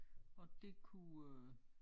Og det kunne øh